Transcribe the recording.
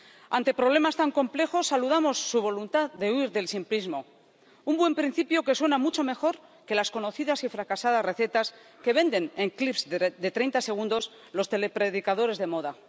Ante problemas tan complejos, saludamos su voluntad de huir del simplismo, un buen principio que suena mucho mejor que las conocidas y fracasadas recetas que venden en clips de treinta segundos los telepredicadores de moda.